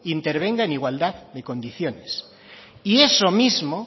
intervenga en igualdad de condiciones y eso mismo